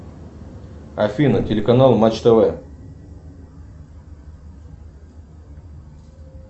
афина телеканал матч тв